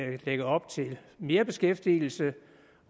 lægger op til mere beskæftigelse